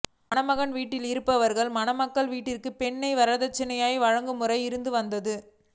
மணமகன் வீட்டில் இருப்பவர் மணமகள் வீட்டிற்கு பொன்னை வரதட்சணையாக வழங்கும் முறை இருந்து வந்தது